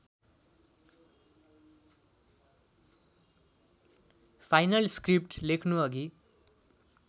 final script लेख्नुअघि